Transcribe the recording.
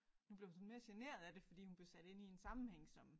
Nu blev hun sådan mere generet af det fordi hun blev sat ind i en sammenhæng som